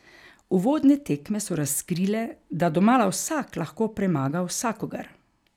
Uvodne tekme so razkrile, da domala vsak lahko premaga vsakogar.